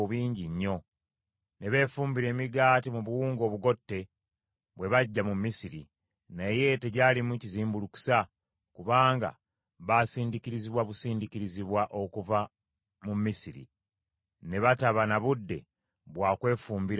Ne beefumbira emigaati mu buwunga obugotte bwe baggya mu Misiri, naye tegyalimu kizimbulukusa, kubanga baasindiikirizibwa busindiikirizibwa okuva mu Misiri, ne bataba na budde bwa kwefumbira mmere.